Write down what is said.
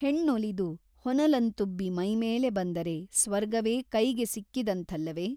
ಹೆಣ್ಣೊಲಿದು ಹೊನಲಂತುಬ್ಬಿ ಮೈಮೇಲೆ ಬಂದರೆ ಸ್ವರ್ಗವೇ ಕೈಗೆ ಸಿಕ್ಕಿದಂಥಲ್ಲವೆ ?